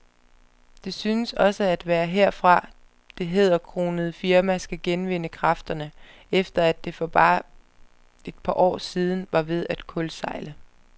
Det synes også at være herfra, det hæderkronede firma skal genvinde kræfterne, efter at det for bare et par år siden var ved at kuldsejle.